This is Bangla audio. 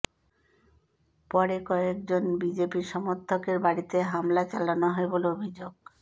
পরে কয়েকজবন বিজেপি সমর্থকের বাড়িতে হামলা চালানো হয় বলে অভিযোগ